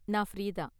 நான் ஃப்ரீ தான்.